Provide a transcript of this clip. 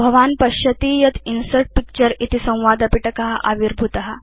भवान् पश्यति यत् इन्सर्ट् पिक्चर इति संवादपिटक आविर्भूत